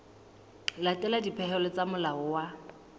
latela dipehelo tsa molao wa